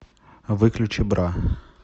выключи бра